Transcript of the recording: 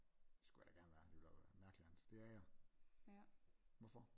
Det skulle jeg da gerne være det ville da være mærkeligt andet det er jeg hvorfor?